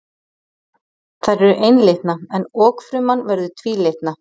Þær eru einlitna en okfruman verður tvílitna.